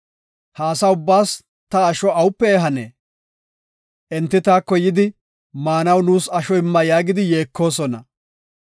Ha asa ubbaas ta asho awupe ehanee? Enti taako yidi, ‘Maanaw nuus asho imma’ yaagidi yeekosona.